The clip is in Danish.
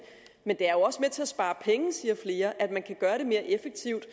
men det er jo også med til at spare penge siger flere at man kan gøre det mere effektivt